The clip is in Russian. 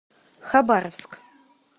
хабаровск